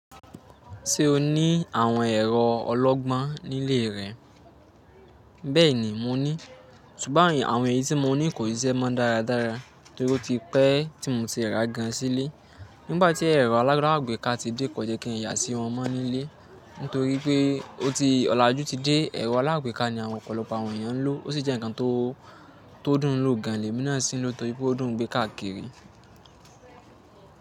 Ṣé o ní àwọn ẹ̀rọ ọlọ́gbọ́n nílé rẹ? Bẹ́ẹ̀ni, mo ní. Ṣùgbọ́n àwọn èyí tí mo ní kò ì ṣise mọ́ dáradára nítorí ó ti pẹ́ tí mo ti rà gan an sílé. Nígbà tí ẹ̀rọ alágbèéká ti dé kọ̀ jẹ́ kí n yà sí wọn mọ́ nílé. Nítorí pé ó ti ọ̀làjú ti dé, ẹ̀rọ alágbèéká ní àwọn ọ̀pọ̀lọpọ̀ àwọn èèyàn ń lò. Ó sì jẹ́ ǹkan tó, tó dùn ún lò gan an. Lẹ́mí náa sì ń lò torí pé ó dùn ún gbé káàkiri.